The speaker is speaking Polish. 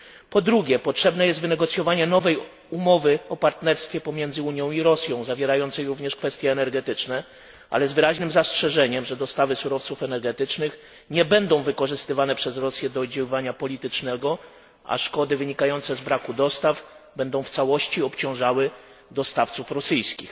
Po drugie, potrzebne jest wynegocjowanie nowej umowy o partnerstwie pomiędzy Unią i Rosją, zawierającej również kwestie energetyczne, ale z wyraźnym zastrzeżeniem, że dostawy surowców energetycznych nie będą wykorzystywane przez Rosję do oddziaływania politycznego, a szkody wynikające z braku dostaw będą w całości obciążały dostawców rosyjskich.